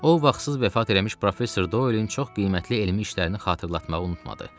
O, vaxtsız vəfat eləmiş professor Doilin çox qiymətli elmi işlərini xatırlatmağı unutmadı.